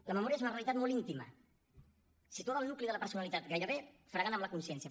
la memòria és una realitat molt íntima situada al nucli de la personalitat gairebé fregant amb la consciència